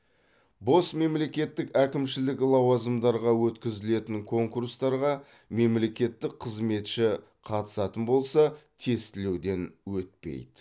бос мемлекеттік әкімшілік лауазымдарға өткізілетін конкурстарға мемлекеттік қызметші қатысатын болса тестілеуден өтпейді